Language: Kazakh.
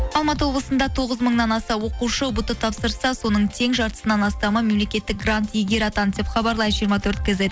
алматы облысында тоғыз мыңнан аса оқушы ұбт тапсырса соның тең жартысынан астамы мемлекеттік грант иегері атанды деп хабарлайды жиырма төрт кизет